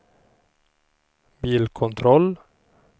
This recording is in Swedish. bilkontroll